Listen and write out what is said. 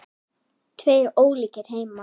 Tveir ólíkir heimar.